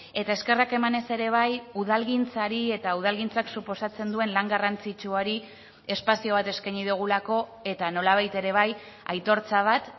eta eskerrak emanez ere bai udalgintzari eta udalgintzak suposatzen duen lan garrantzitsuari espazio bat eskaini dugulako eta nolabait ere bai aitortza bat